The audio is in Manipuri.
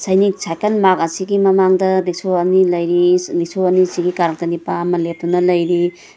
ꯁꯥꯢꯀꯜ ꯃꯥꯔꯠ ꯑꯁꯤꯒꯤ ꯃꯃꯡꯗ ꯔꯤꯛꯁꯣ ꯑꯅꯤ ꯂꯩꯔꯤ ꯔꯤꯛꯁꯣ ꯑꯅꯤꯁꯤꯒꯤ ꯀꯔꯛꯇ ꯅꯤꯄꯥ ꯑꯃ ꯂꯦꯞꯇꯨꯅ ꯂꯩꯔꯤ꯫